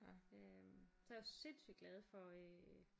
Øh så jeg var sindssygt glad for øh